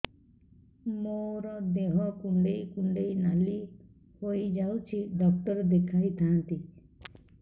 ମୋର ଦେହ କୁଣ୍ଡେଇ କୁଣ୍ଡେଇ ନାଲି ହୋଇଯାଉଛି ଡକ୍ଟର ଦେଖାଇ ଥାଆନ୍ତି